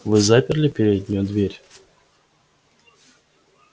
вы заперли переднюю дверь